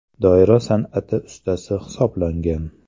Doira san’ati ustasi hisoblangan.